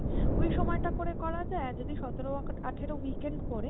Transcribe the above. ওই সময় করে করা যায় আর যদি সতেরো আঠেরো weekend পরে